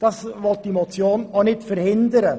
Das will diese Motion auch nicht verhindern.